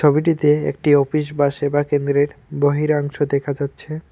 ছবিটিতে একটি অফিস বা সেবা কেন্দ্রের বহিরাংশ দেখা যাচ্ছে।